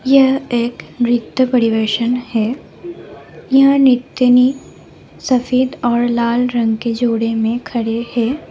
यह एक नृत्य परिवेषण है यहाँ नृत्यनी सफेद और लाल रंग के जोड़े में खड़े हैं।